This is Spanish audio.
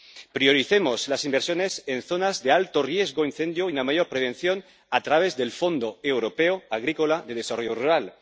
Prioricemos las inversiones en zonas de alto riesgo de incendio y una mayor prevención a través del Fondo Europeo Agrícola de Desarrollo Rural.